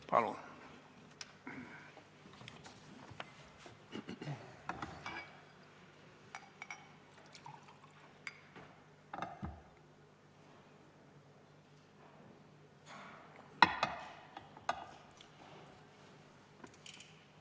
Palun!